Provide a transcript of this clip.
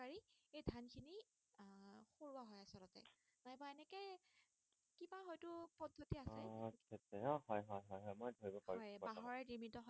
হয় হয় হয় মই ধৰিব পাৰিছো হয় বৰ্তমান বাঁহৰে নিৰ্মিত হয়